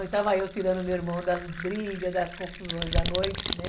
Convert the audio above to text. E estava eu tirando o meu irmão das brigas, das confusões da noite, né?